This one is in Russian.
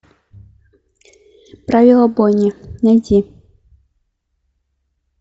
правила бойни найти